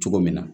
Cogo min na